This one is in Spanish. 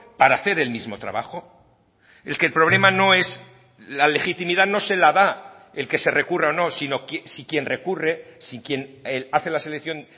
para hacer el mismo trabajo es que el problema no es la legitimidad no se la da el que se recurra o no sino si quien recurre si quien hace la selección